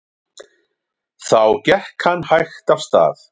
Þá gekk hann hægt af stað.